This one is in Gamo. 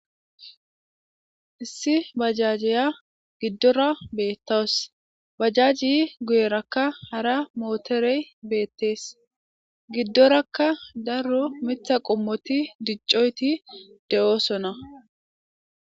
Issi bajajjiya giddora beettaws bajaji guyerakka hara mooterey beettees giddorakka daro mitha qommoti diccoyti de'oosona.